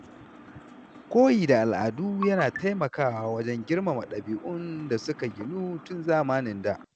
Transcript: Koyi da al’adu yana taimakawa wajen girmama ɗabi’un da suka ginu tun zamanin da.